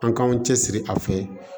An k'an cɛsiri a fɛ